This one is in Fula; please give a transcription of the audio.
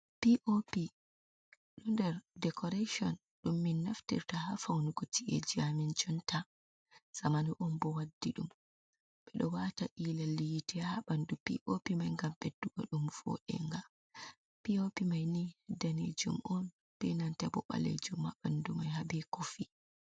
Piopi hunde decoration dum min naftirta ha faunugo ci’eji amin jonta. Zamanu oun bo waddi ɗum. Ɓe ɗo waata ila yiiteha ɓandu piopi mai ngam ɓeddugo ɗum foenga. Piopi mai ni danejum on be nanta bo ɓalejum ha ɓandu mai habe kofi.